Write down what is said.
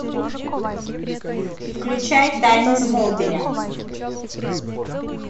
включай тайны смолвиля